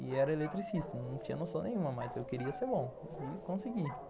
E era eletricista, não tinha noção nenhuma, mas eu queria ser bom e consegui.